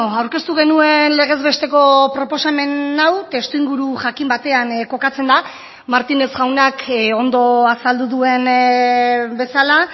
aurkeztu genuen legez besteko proposamen hau testuinguru jakin batean kokatzen da martínez jaunak ondo azaldu duen bezala